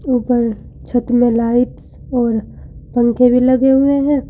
ऊपर छत में लाइट और पंखे लगे हुए हैं।